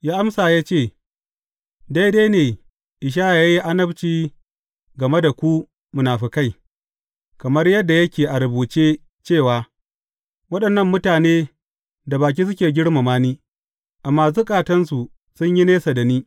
Ya amsa ya ce, Daidai ne Ishaya ya yi annabci game da ku munafukai; kamar yadda yake a rubuce cewa, Waɗannan mutane da baki suke girmama ni, amma zukatansu sun yi nesa da ni.